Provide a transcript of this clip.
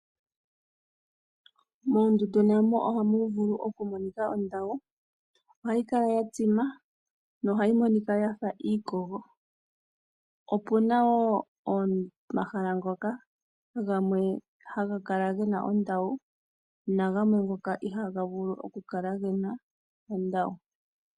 Moondundu namo ohamu vulu okumonika ondawu ohayi kala yatsima nohayi monika yafa iikogo. Opena wo omahala ngoka haga kala gena ondawu na gamwe ngoka ihaga kala gena.